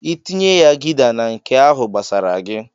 "I tinye ya Gida na nke ahụ gbasara gi."